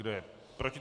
Kdo je proti?